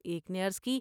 ایک نے عرض کی ۔